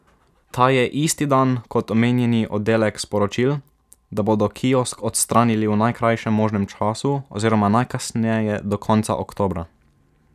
Ta je isti dan kot omenjeni oddelek sporočil, da bodo kiosk odstranili v najkrajšem možnem času oziroma najkasneje do konca oktobra.